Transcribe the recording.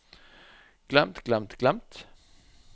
glemt glemt glemt